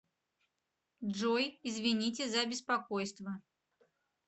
джой извините за беспокойство